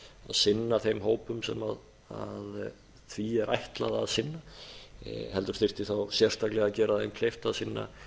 sinna þeim hópum sem því er ætlað að sinna heldur þyrfti þá sérstaklega að gera þeim kleift að sinna